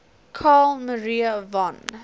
carl maria von